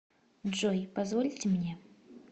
джой позвольте мне